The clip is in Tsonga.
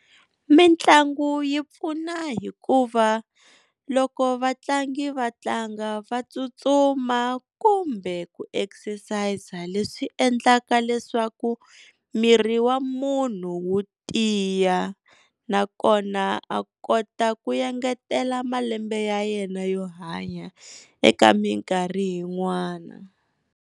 Mitlangu yi pfuna hikuva loko vatlangi va tlanga va tsutsuma kumbe ku exercise-a leswi endlaka leswaku miri wa munhu wu tiya nakona a kota ku engetela malembe ya yena yo hanya eka minkarhi yin'wana.